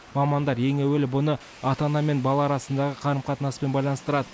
мамандар ең әуелі бұны ата ана мен бала арасындағы қарым қатынаспен байланыстырады